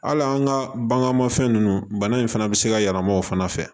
Hali an ka baganmafɛn ninnu bana in fana bɛ se ka yɛlɛma o fana fɛ